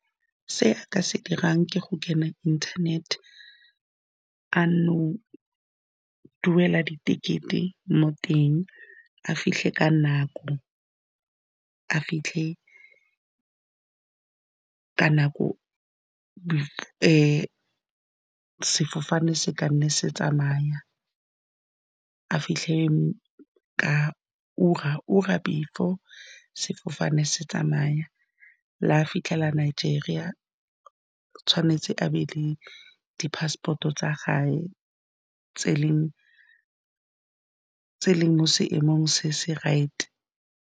Se a ka se dirang ke go kena internet-te, duela di ticket-e mo teng, a fitlhe ka nako, sefofane se ka nne se tsamaya, a fitlhe ka ura before sefofane se tsamaya. La fitlhela Nigeria, tshwanetse a be le di passport-o tsa gae, tse e leng mo seemong se se right-e.